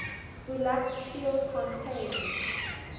bulat steel contains